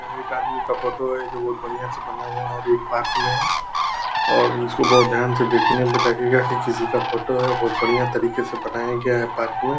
एक आदमी का फोटो है जो बहुत बढ़िया से बना हुआ है और ये पार्क में है और इसको बहुत ध्यान से देखने में लगेगा की किसी का फोटो है बहुत बढ़िया तरीके से बनाया गया है पार्क में ।